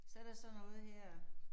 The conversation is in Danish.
Så der sådan noget her